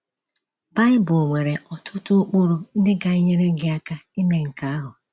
Bible nwere ọtụtụ ụkpụrụ ndị ga - enyere gị aka ime nke ahụ.